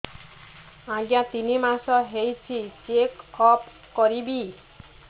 ଆଜ୍ଞା ତିନି ମାସ ହେଇଛି ଚେକ ଅପ କରିବି